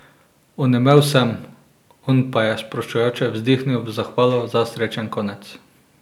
Onemel sem, on pa je sproščujoče vzdihnil v zahvalo za srečen konec.